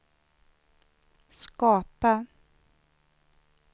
skapa